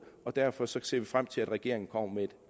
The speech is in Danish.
og derfor ser vi frem til at regeringen kommer med et